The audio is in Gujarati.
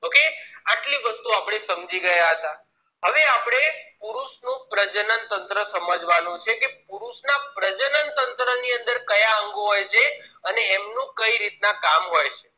આટલી વસ્તુ આપણે સમજી ગયા હતા હવે આપણે પુરુષ નો પ્રજનન તંત્ર સમજવાનું છે કે પુરુષ ના પ્રજનન તંત્ર ની અંદર કયા અંગો હોય છે અને એમનુ કઈ રીતના કામ હોય છે